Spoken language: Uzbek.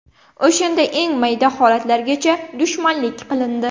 O‘shanda eng mayda holatlargacha dushmanlik qilindi.